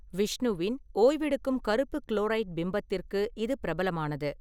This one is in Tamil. விஷ்ணுவின் ஓய்வெடுக்கும் கருப்பு குளோரைட் பிம்பத்திற்கு இது பிரபலமானது.